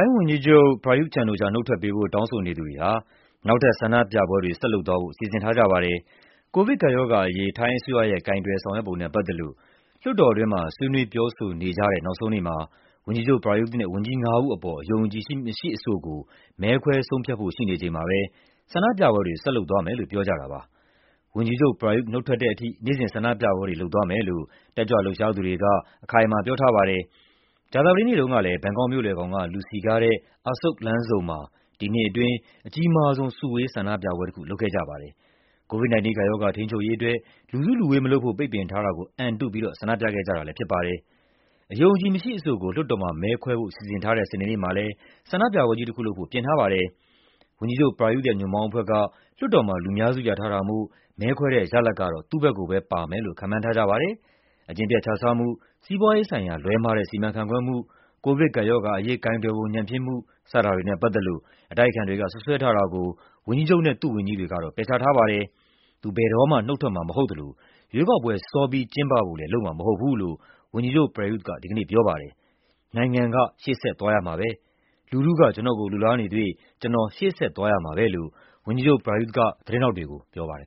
ုင်းဝန်ကြီးချုပ် ပရာယုသ် ချန်-အိုချာ နုတ်ထွက်ပေးဖို့ တောင်းဆိုနေသူတွေဟာ နောက်ထပ်ဆန္ဒပြပွဲတွေ ဆက်လုပ်သွားဖို့ စီစဉ်ထားကြပါတယ်။ ကိုဗစ်ကပ်ရောဂါအရေး ထိုင်းအစိုးရရဲ့ ကိုင်တွယ်ဆောင်ရွက်ပုံနဲ့ ပတ်သက်လို့ လွှတ်တော်တွင်း ဆွေးနွေးပြောဆိုနေကြတဲ့ နောက်ဆုံးနေ့မှာ ဝန်ကြီးချုပ် ပရာယုသ်နဲ့ ဝန်ကြီးငါးဦးအပေါ် အယုံအကြည်မရှိအဆိုကို မဲခွဲဆုံးဖြတ်ဖို့ရှိနေချိန်မှာပဲ ဆန္ဒပြပွဲတွေ ဆက်လုပ်သွားမယ်လို့ ပြောကြတာပါ။ ဝန်ကြီးချုပ် ပရာယုသ် နုတ်ထွက်တဲ့အထိ နေ့စဉ်ဆန္ဒပြပွဲတွေလုပ်သွားမယ်လို့ တက်ကြွလှုပ်ရှားသူတွေက အခိုင်အမာပြောထားပါတယ်။ ကြာသပတေးနေ့တုံးကလည်း ဘန်ကောက်မြို့လည်ခေါင်က လူစည်ကားတဲ့ Asoke လမ်းဆုံမှာ ဒီနှစ်အတွင်း အကြီးမားဆုံး စုဝေးဆန္ဒပြပွဲတခု လုပ်ခဲ့ကြပါတယ်။ COVID-19 ကပ်ရောဂါ ထိန်းချုပ်ရေးအတွက် လူစုလူဝေးမလုပ်ဖို့ ပိတ်ပင်ထားတာကို အန်တုပြီး ဆန္ဒပြခဲ့ကြတာလည်းဖြစ်ပါတယ်။ အယုံအကြည်မရှိအဆိုကို လွှတ်တော်မှာမဲခွဲဖို့ စီစဉ်ထားတဲ့ စနေနေ့မှာလည်း ဆန္ဒပြပွဲကြီးတခုလုပ်ဖို့ ပြင်ထားကြပါတယ်။ ဝန်ကြီးချုပ် ပရာယုသ်ရဲ့ ညွန့်ပေါင်းအဖွဲ့က လွှတ်တော်မှာ လူများစုရထားတာမို့ မဲခွဲတဲ့ရလဒ်ကတော့ သူ့ဘက်ကိုပဲပါမယ်လို့ ခန့်မှန်းထားကြပါတယ်။ အကျင့်ပျက်ခြစားမှု၊ စီးပွားရေးဆိုင်ရာ လွဲမှားတဲ့ စီမံခန့်ခွဲမှု၊ ကိုဗစ်ကပ်ရောဂါအရေး ကိုင်တွယ်ပုံ ညံ့ဖျင်းမှု စတာတွေနဲ့ပတ်သက်လို့ အတိုက်အခံတွေက စွပ်စွဲထားတာကို ဝန်ကြီးချုပ်နဲ့ သူ့ဝန်ကြီးတွေက ပယ်ချထားပါတယ်။ သူ ဘယ်တော့မှ နုတ်ထွက်မှာမဟုတ်သလို ရွေးကောက်ပွဲ စောပြီးကျင်းပဖို့လည်း လုပ်မှာမဟုတ်ဘူးလို့ ဝန်ကြီးချုပ် ပရာယုသ်က ဒီကနေ့ပြောပါတယ်။ "နိုင်ငံက ရှေ့ဆက်သွားရမှာပဲ၊ လူထုက ကျနော့်ကို လိုလားနေသရွေ့ ကျနော် ရှေ့ဆက်သွားရမှာပဲ" လို့ ဝန်ကြီးချုပ် ပရာယုသ်က သတင်းထောက်တွေကို ပြောပါတယ်